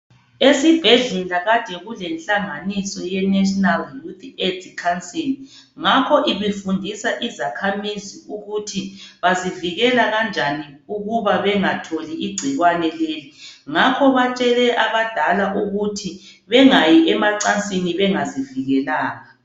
Esibhedlela bekulenhlanganiso yeNational AIDS council ngakho ibifundisa izakhamuzi ukuthi bazivikela kanjani ukuba bengatholi igcikwane leli. Ngakho batshele abadala ukuthi bengayi emacansini bengazivikelanga.